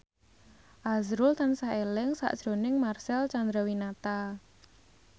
azrul tansah eling sakjroning Marcel Chandrawinata